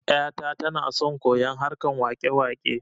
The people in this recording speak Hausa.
Yata tana son koyon harkan wakewake